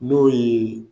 N'o ye